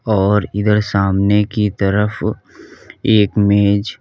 और इधर सामने की तरफ एक मेज--